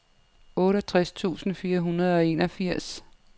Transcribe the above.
otteogtres tusind fire hundrede og enogfirs